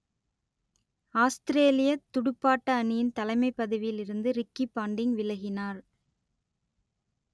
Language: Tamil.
ஆஸ்த்திரேலியத் துடுப்பாட்ட அணியின் தலைமைப் பதவியில் இருந்து ரிக்கி பாண்டிங் விலகினார்